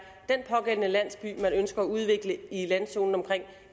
den pågældende landsby man ønsker at udvikle i landzonen omkring